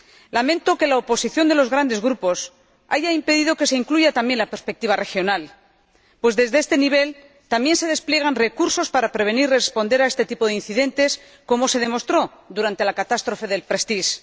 Lamento que la oposición de los grandes grupos haya impedido que se incluya también la perspectiva regional, pues desde este nivel también se despliegan recursos para prevenir y responder a este tipo de incidentes, como se demostró durante la catástrofe del Prestige.